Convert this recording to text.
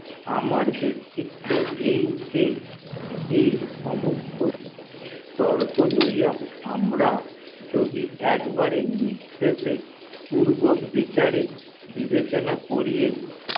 আমার বেক্তিতত এই যে এই সমস্ত তর্ক লইয়া আমরা একবারে পূর্বক বিচারে বিবেচনা করিয়া